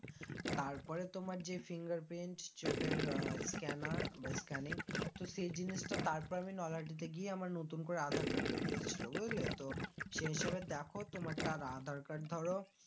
তারপরে তোমার যে finger print চোখের আহ scanner বা scanning তো সেই জিনিসটা তারপরে আমি নৈহাটি তে গিয়ে আমার নতুন করে আধার card বেরিয়েছিলো বুঝলে তো সে হিসাবে দেখো তোমারটা আধার card ধরো